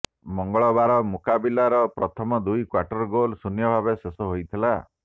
ମଙ୍ଗଳବାର ମୁକାବିଲାର ପ୍ରଥମ ଦୁଇ କ୍ବାର୍ଟର୍ ଗୋଲ୍ ଶୂନ୍ୟଭାବେ ଶେଷ ହୋଇଥିଲା